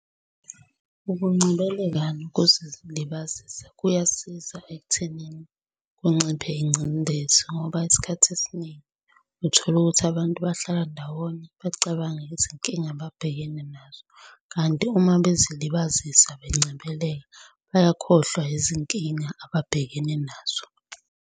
Ukungcebeleka nokuzilibazisa kuyasiza ekuthenini kunciphe ingcindezi, ngoba isikhathi esiningi uthola ukuthi abantu bahlala ndawonye bacabange izinkinga ababhekene nazo, kanti uma bezilibazisa bengcebeleka, bayakhohlwa yizinkinga ababhekene nazo.